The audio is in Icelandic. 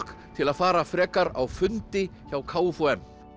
til að fara frekar á fundi hjá k f u m